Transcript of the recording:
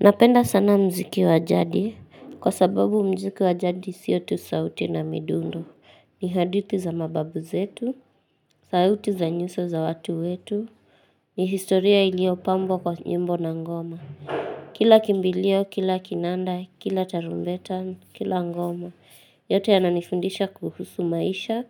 Napenda sana mziki wajadi, kwa sababu mziki wajadi sio tu sauti na midundo. Ni hadithi za mababu zetu, sauti za nyuso za watu wetu, ni historia iliyopambwa kwa nyimbo na ngoma. Kila kimbilio, kila kinanda, kila tarumbeta, kila ngoma, yote yananifundisha kuhusu maisha,